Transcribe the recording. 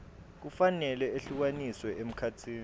kufanele ehlukaniswe emkhatsini